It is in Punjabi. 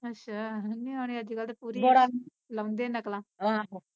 ਅੱਛਾ ਨਿਆਣੇ ਅੱਜ ਕੱਲ ਦੇ ਪੂਰੀ ਲਾਉਂਦੇ ਐ ਨਕਲਾਂ ਆਹ